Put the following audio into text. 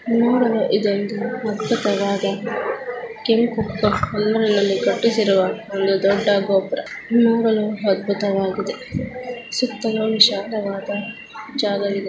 ಇದು ಒಂದು ಅದ್ಬುತ ವದ ಕೆಂಪು ಕಲ್ಲಿನಿಂದ ಕಟ್ಟಿಸಿರುವ ಒಂದು ಗೋಪುರ ನೋಡಲು ಅದ್ಬುತ ವಾಗಿದೆ ಸುತ್ತಲೂ ವಿಶಾಲ ವದ ಜಾಗ ವಿದೇ.